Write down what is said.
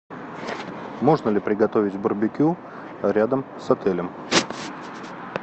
можно ли приготовить барбекю рядом с отелем